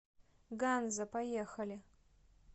ганза поехали